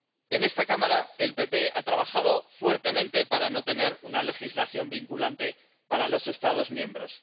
En esta Cámara, el PPE ha trabajado intensamente para no tener una legislación vinculante para los Estados miembros.